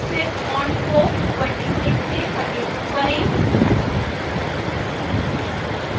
फिर font size को 26 से 32 करें